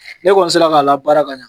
Ne kɔni sera k'a labaara ka ɲa.